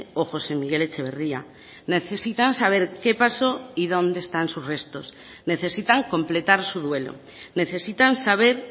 o josé miguel etxeberria necesitan saber que paso y donde están sus restos necesitan completar su duelo necesitan saber